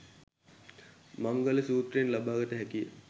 මංගල සුත්‍රයෙන් ලබාගත හැකිය.